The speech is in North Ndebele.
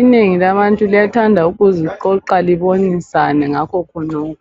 Inengi labantu liyathanda ukuziqoqa libonisane ngakho khonokho.